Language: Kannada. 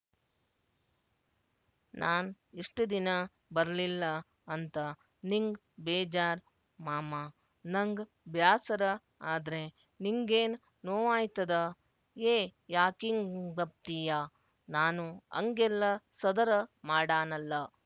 ನಾನ್ ಇಷ್ಟು ದಿನ ಬರ್ಲಿಲ್ಲ ಅಂತ ನಿಂಗ್ ಬೇಜಾರ್ ಮಾಮ ನಂಗ್ ಬ್ಯಾಸರ ಆದ್ರೆ ನಿಂಗೇನ್ ನೋವಾಯ್ತದ ಯೇ ಯಾಕಿಂಗಂಬ್ತೀಯ ನಾನು ಅಂಗೆಲ್ಲ ಸದರ ಮಾಡಾನಲ್ಲ